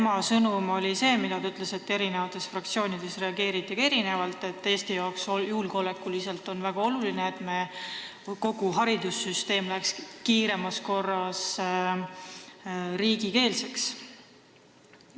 Tema sõnum oli see – ta ütles, et eri fraktsioonides reageeriti sellele erinevalt –, et Eestile on julgeolekuliselt väga oluline, et kogu haridussüsteem läheks kiiremas korras riigikeelseks.